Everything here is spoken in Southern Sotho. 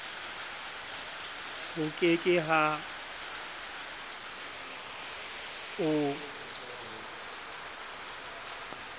ho ke ke ha o